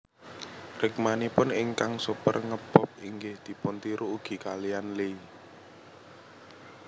Rikmanipun ingkang super nge bob inggih dipun tiru ugi kaliyan Lee